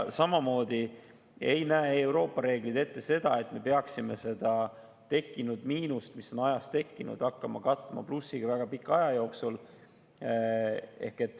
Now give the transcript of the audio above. Euroopa reeglid ei näe ette seda, et me peaksime ajas tekkinud miinust hakkama katma väga pika aja jooksul plussiga.